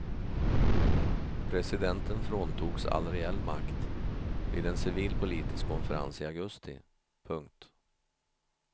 Presidenten fråntogs all reell makt vid en civil politisk konferens i augusti. punkt